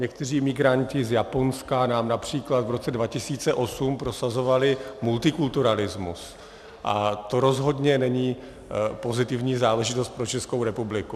Někteří migranti z Japonska nám například v roce 2008 prosazovali multikulturalismus a to rozhodně není pozitivní záležitost pro Českou republiku.